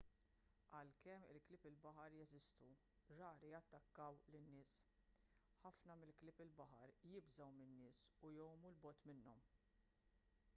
għalkemm il-klieb il-baħar jeżistu rari jattakkaw lin-nies ħafna mill-klieb il-baħar jibżgħu min-nies u jgħumu l bogħod minnhom